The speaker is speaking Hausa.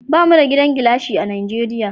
Bamu da gidan gilashi a Najeriya